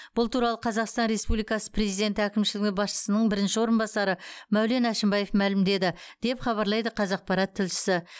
бұл туралы қазақстан республикасы президенті әкімшілігі басшысының бірінші орынбасары мәулен әшімбаев мәлімдеді деп хабарлайды қазақпарат тілшісі